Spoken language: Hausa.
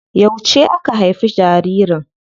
Yauce aka haifi jaririn?